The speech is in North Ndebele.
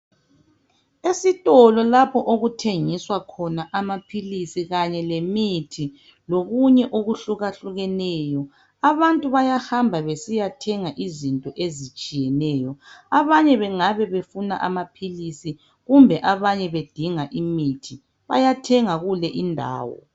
Esitolo lapho ukuthengiswa khona amaphilisi kanye lemithi lokunye okuhlukahlukeneyo, abantu bayahamba besiyathenga izinto ezitshiyeneyo, abanye bengaba befuna amaphilisi kumbe abanye bedinga imithi, bayathenga kule indawo.